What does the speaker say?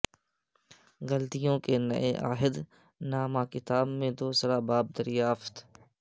گلتیوں کے نئے عہد نامہ کتاب میں دوسرا باب دریافت